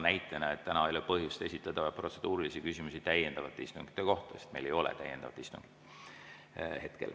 Näitena: täna ei ole põhjust esitada protseduurilisi küsimusi täiendavate istungite kohta, sest meil ei ole täna täiendav istung.